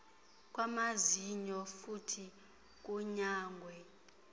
kwamazinyo futhi kunyangwe